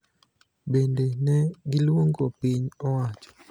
Bende, ne giluongo piny owacho